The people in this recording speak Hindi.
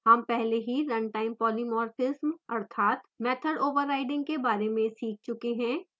हम पहले ही runtime polymorphism अर्थात method overriding के बारे में सीख चुके हैं